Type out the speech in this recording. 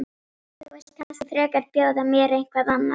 En þú vilt kannski frekar bjóða mér eitthvað annað?